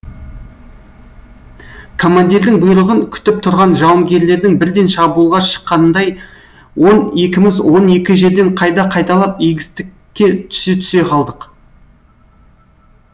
командирдің бұйрығын күтіп тұрған жауынгерлердің бірден шабуылға шыққанындай он екіміз он екі жерден қайда қайдалап егістікке түсе түсе қалдық